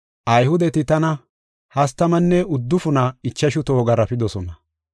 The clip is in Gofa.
Ayhudeti tana hastamanne uddufuna ichashu toho garaafidosona.